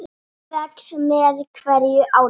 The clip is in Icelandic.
Hlaupið vex með hverju árinu.